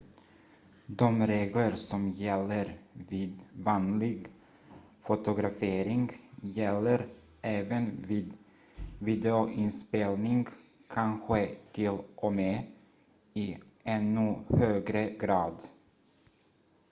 de regler som gäller vid vanlig fotografering gäller även vid videoinspelning kanske till och med i ännu högre grad